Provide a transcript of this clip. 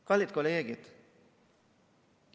Kallid kolleegid!